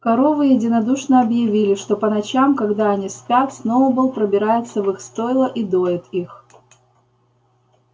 коровы единодушно объявили что по ночам когда они спят сноуболл пробирается в их стойла и доит их